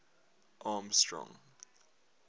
armstrong